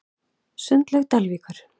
Sundlaug Dalvíkur